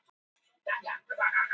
Góð viðbrögð við ákalli Blóðbankans